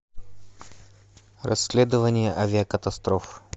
расследование авиакатастроф